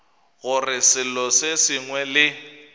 gore selo se sengwe le